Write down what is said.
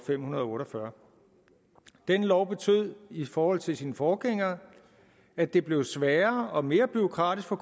fem hundrede og otte og fyrre den lov betød i forhold til sin forgænger at det blev sværere og mere bureaukratisk for